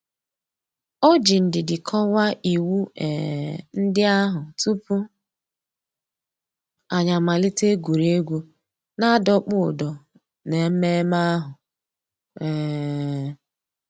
Ọ̀ jì ndìdì kọ́wàá ìwù um ńdí àhụ̀ túpù ànyị̀ àmàlítè ègwè́ré́gwụ̀ nà-àdọ̀kpụ̀ ǔ́dọ̀ n'èmẹ̀mmẹ̀ àhụ̀. um